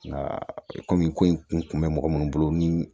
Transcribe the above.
Nka komi ko in kun bɛ mɔgɔ minnu bolo ni